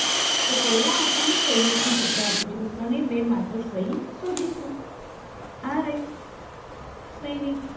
તો આપણને સૈનિકનું ચિત્ર આપેલું છે તો સને બે માત્ર સૈ શોધીશું આ રહ્યું સૈનિક